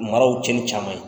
Maraw tiɲɛni caman ye.